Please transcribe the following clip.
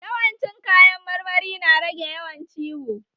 Yawan ci kayan marmari na rage yawan ciwo